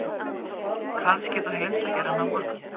Kannski þú heimsækir hann á morgun?